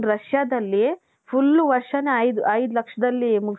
Russiaದಲ್ಲಿ full ವರ್ಷನೆ ಐದು ಐದು ಲಕ್ಷದಲ್ಲಿ